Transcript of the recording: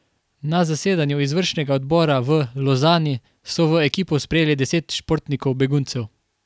Na zasedanju izvršnega odbora v Lozani so v ekipo sprejeli deset športnikov beguncev.